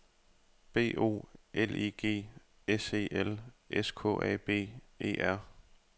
B O L I G S E L S K A B E R